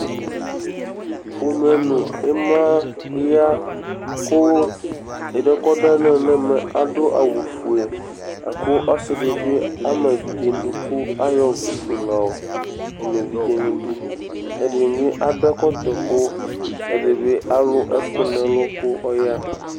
Imaya kʋ ɛdiɛ kʋ ɔɖu alɔŋu ŋu ɛmɛ aɖu awu fʋe Ɔsiɖi bi ama evidze ŋu iɖʋ kʋ ayɔ ɔvlɛ fʋe la ma evidze ŋu iɖʋ Ɛɖìní bi aɖu ɛkɔtɔ kʋ ɛɖìní alu ɛku ŋu ɛlu kʋ ɔya